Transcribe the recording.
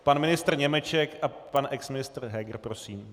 Pan ministr Němeček a pan exministr Heger, prosím.